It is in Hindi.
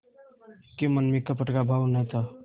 के मन में कपट का भाव न था